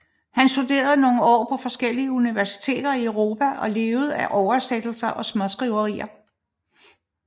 Han studerede nogle år på forskellige universiteter i Europa og levede af oversættelser og småskriverier